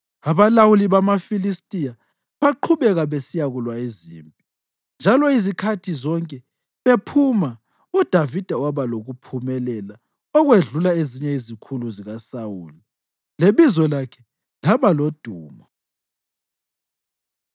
Abalawuli bamaFilistiya baqhubeka besiyakulwa izimpi, njalo izikhathi zonke bephuma, uDavida waba lokuphumelela okwedlula ezinye izikhulu zikaSawuli, lebizo lakhe laba lodumo.